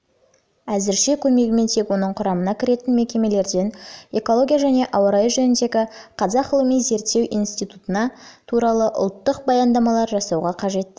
зірше көмегімен тек оның құрамына кіретін мекемелерден экология және ауа райы жөніндегі қазақ ғылыми-зерттеу институтына туралы ұлттық баяндамалар жасауға қажетті